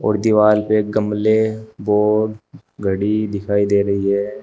और दीवार पे गमले बोर्ड घड़ी दिखाई दे रही है।